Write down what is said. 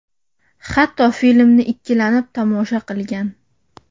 Hatto filmni ikkilanib tomosha qilgan.